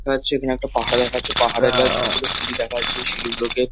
দেখা যাচ্ছে এখানে একটা পাহাড় দেখা যাচ্ছে পাহাড়ের গায়ে ছোট ছোট সিঁড়ি দেখা যাচ্ছে। এই সিঁড়িগুলোকে--